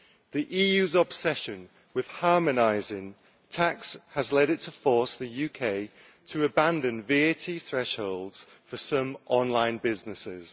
The EU's obsession with harmonising tax has led it to force the UK to abandon VAT thresholds for some online businesses.